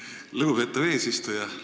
Aitäh, lugupeetav eesistuja!